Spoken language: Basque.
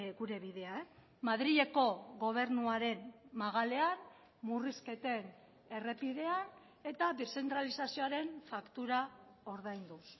gure bidea madrileko gobernuaren magalean murrizketen errepidean eta deszentralizazioaren faktura ordainduz